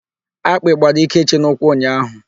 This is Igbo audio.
Akpị gbara Ikechi n'ụkwụ ụnyaahụ.